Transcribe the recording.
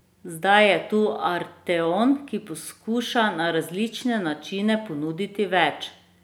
Zdaj je tu arteon, ki poskuša na različne načine ponuditi več.